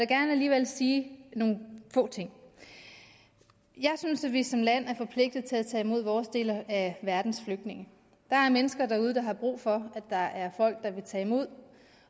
gerne alligevel sige nogle få ting jeg synes at vi som land er forpligtet til at tage imod vores del af verdens flygtninge der er mennesker derude der har brug for at der er folk der vil tage imod